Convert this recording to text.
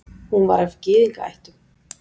Hún var af gyðingaættum.